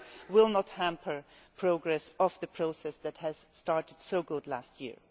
will not hamper the progress of the process that started so well last year.